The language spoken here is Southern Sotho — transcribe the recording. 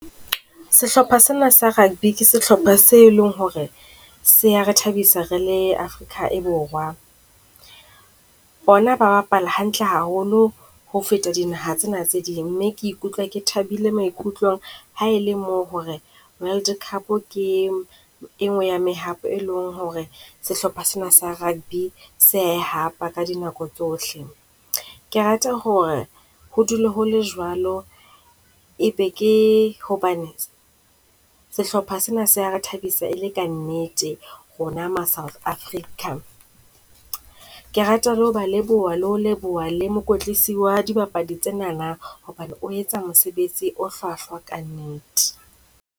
Sehlopha se na sa rugby ke sehlopha se leng ho re se ya re thabisa rele Afrika e Borwa. Bona ba bapala hantle haholo ho feta dinaha tsena tse ding, mme ke ikutlwa ke thabile maikutlong ha e le mo ho re World Cup ke e ngwe ya mehato e leng ho re sehlopha sena sa rugby se ya e hapa ka dinako tsohle. Ke rata ho re ho dule ho le jwalo, e be ke hobaneng sehlopha se na se ya re thabisa e le ka nnete rona ma-South Africa. Ke rata le ho ba leboha, le ho leboha le mokotlisi wa dibapadi tsenana, hobane o etsa mosebetsi o hlwahlwa ka nnete.